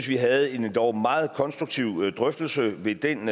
vi havde en endog meget konstruktiv drøftelse ved den